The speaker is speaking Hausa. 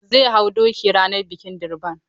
Zai hau doki ranar bikin Durbar.